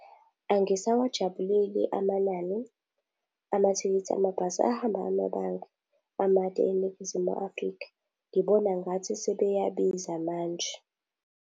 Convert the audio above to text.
Angisawajabuleli amanani amathikithi amabhasi ahamba amabanga amade eNingizimu Afrika. Ngibona ngathi sebeyabiza manje.